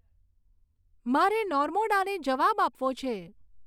મારે નોર્મોડાને જવાબ આપવો છે